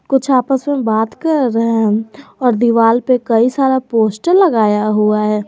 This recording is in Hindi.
कुछ आपस में बात कर रहे हैं और दीवाल पर कई सारा पोस्टर लगाया हुआ है।